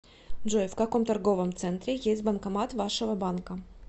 джой в каком торговом центре есть банкомат вашего банка